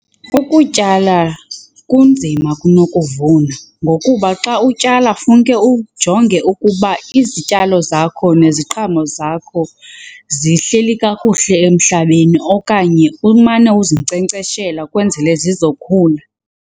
Ukutyala kunzima kunokuvuna ngokuba xa utyala funeke ujonge ukuba izityalo zakho neziqhamo zakho zihleli kakuhle emhlabeni okanye umane uzinkcenkceshela kwenzele zizokhula.